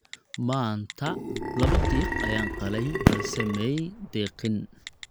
maanta labo diiq ayaan qalay balse maay deqin